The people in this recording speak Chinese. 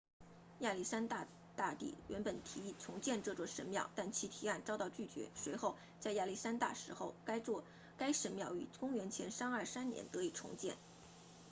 亚历山大大帝原本提议重建这座神庙但其提案遭到拒绝随后在亚历山大死后该神庙于公元前323年得以重建